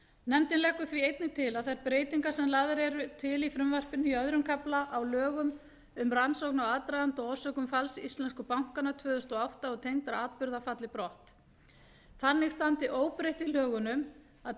nefndin leggur því einnig til að þær breytingar sem lagðar eru til í frumvarpinu í öðrum kafla á lögum um rannsókn á aðdraganda og orsökum falls íslensku bankanna tvö þúsund og átta og tengdra atburða falli brott þannig standi óbreytt í lögunum að